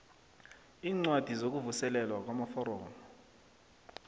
iincwadi zokuvuselelwa namaforomo